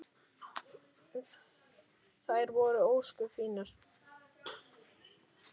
Þær voru ósköp fínar.